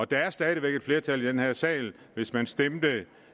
der er stadig væk et flertal i den her sal hvis man stemte